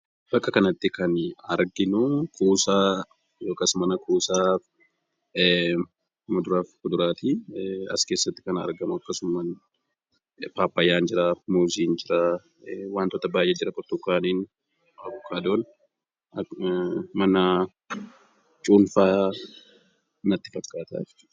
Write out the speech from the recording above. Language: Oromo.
Bakka kanattii kan nuti arginu mana kuusaa muduraa fi fuduraati. Innis wantoota addaa addaa yammuu ta'u, fayyyaa qaamaa namaa ijaaruu keessatti ga'ee kan qabu dha.